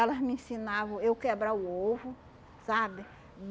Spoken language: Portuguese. Elas me ensinavam eu quebrar o ovo, sabe?